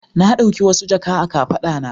Na ɗauki wasu jaka a kafaɗa na.